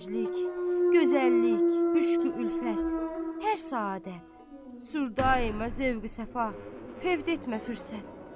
Gənclik, gözəllik, müşqü-ülfət, hər səadət, sürdai məzvuqü səfa, fəvdetmə fürsət.